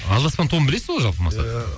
алдаспан тобын білесіз бе ол жалпы мақсат иә